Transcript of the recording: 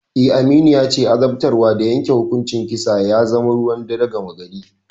Eh, Aminu yace azabtarwa da yanke hukuncin kisa ya zama ruwan dare gama gari.